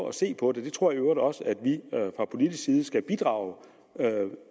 at se på det jeg tror i øvrigt også at vi fra politisk side skal bidrage